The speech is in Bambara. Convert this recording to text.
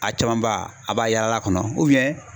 A caman ba a b'a yala a kɔnɔ